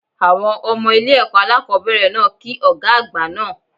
Àwọn Ọmọ ilé èkó alákòóbèrè náà ki Ògá àgbà naa